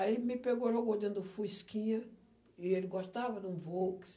Aí ele me pegou, jogou dentro do fusquinha, e ele gostava de um Volks